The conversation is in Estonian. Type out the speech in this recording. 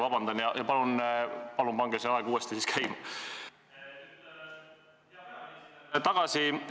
Vabandust, palun pange siis aeg uuesti käima!